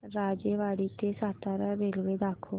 राजेवाडी ते सातारा रेल्वे दाखव